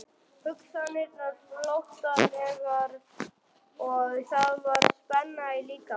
Hugsanirnar flóttalegar og það var spenna í líkamanum.